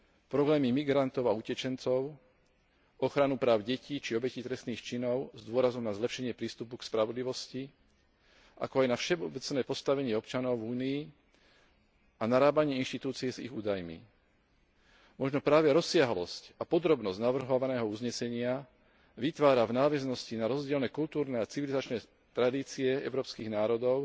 problémy migrantov a utečencov, ochranu práv detí či obetí trestných činov s dôrazom na zlepšenie prístupu k spravodlivosti, ako aj na všeobecné postavenie občanov v Únii a narábanie inštitúcie s ich údajmi. Možno práve rozsiahlosť a podrobnosť navrhovaného uznesenia vytvára v nadväznosti na rozdielne kultúrne a civilizačné tradície európskych národov